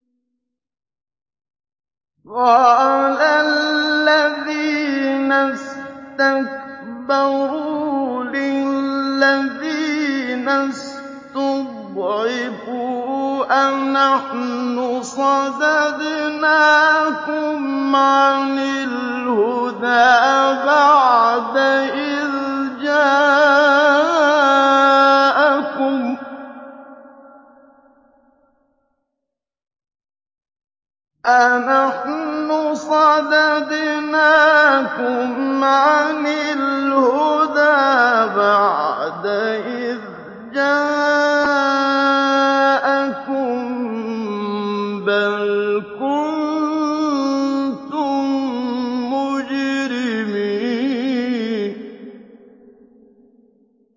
قَالَ الَّذِينَ اسْتَكْبَرُوا لِلَّذِينَ اسْتُضْعِفُوا أَنَحْنُ صَدَدْنَاكُمْ عَنِ الْهُدَىٰ بَعْدَ إِذْ جَاءَكُم ۖ بَلْ كُنتُم مُّجْرِمِينَ